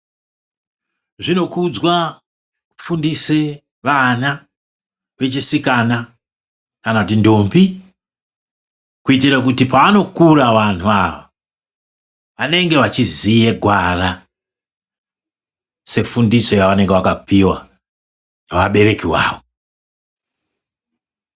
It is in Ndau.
Zvinokudzwa kufundise vana, vechisikana, kana kuti ndombi, kuiitire kuti paanokura wanthu awa vanenge vachiziye gwara sefundiso, yavanenge vakapiwa, newabereki vawo.